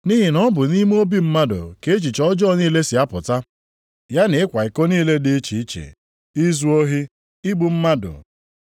Nʼihi na ọ bụ nʼime obi mmadụ ka echiche ọjọọ niile si apụta, ya na ịkwa iko niile dị iche iche, izu ohi, igbu mmadụ,